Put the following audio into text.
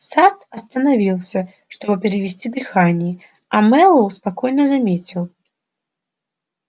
сатт остановился чтобы перевести дыхание а мэллоу спокойно заметил